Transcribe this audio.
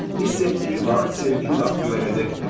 Hiss etdiyi vaxt, sevdiyi vaxt güvənəcəkdir.